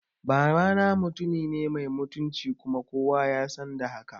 Babana mutumine mai mutunci kuma kowa yasan da haka